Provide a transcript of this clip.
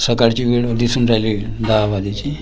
सकाळची वेळ दिसून राहिली दहा वाजायची --